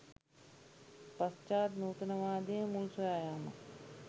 පශ්චාත් නූතනවාදයේ මුල් සොයා යාමක්